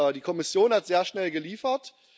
Die Kommission hat sehr schnell geliefert.